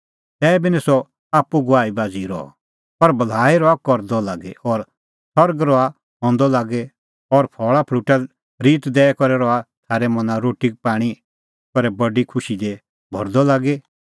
तैबी निं सह आप्पू गवाह बाझ़ी रहअ पर भलाई रहअ करदअ लागी और सरग रहअ हंदअ लागी और फल़ाफल़ूटे ऋत दैई करै रहअ थारै मना रोटीपाणीं करै बडी खुशी दी भरदअ लागी